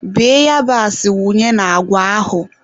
Bee yabasị wunye na agwa ahụ.